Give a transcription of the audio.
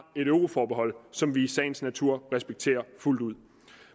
et euroforbehold som vi i sagens natur respekterer fuldt ud